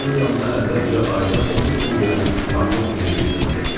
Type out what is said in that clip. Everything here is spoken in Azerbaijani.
Mən onun yanına əvvəlcə ayda 30 quldenə katib kimi bir xidmətə girdim.